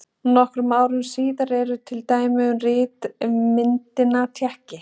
Nokkrum árum síðar eru til dæmi um ritmyndina tékki.